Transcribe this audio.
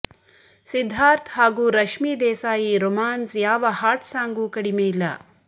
ಸಿದ್ದಾರ್ಥ್ ಹಾಗೂ ರಶ್ಮಿ ದೇಸಾಯಿ ರೊಮ್ಯಾನ್ಸ್ ಯಾವ hot song ಗೂ ಕಡಿಮೆ ಇಲ್ಲ